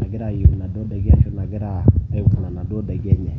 nagira ayeu naduo daiki ashu nagira aivuna naduo daiki enye.